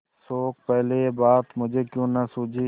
शोक पहले यह बात मुझे क्यों न सूझी